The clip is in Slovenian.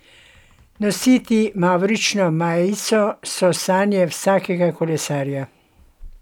Nositi mavrično majico so sanje vsakega kolesarja.